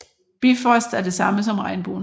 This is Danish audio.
Bifrost er det samme som regnbuen